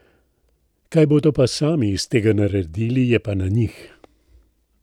Kaj bodo pa sami iz tega naredili, je pa na njih.